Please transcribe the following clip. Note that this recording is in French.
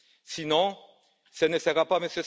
Sinon, ce ne sera pas M.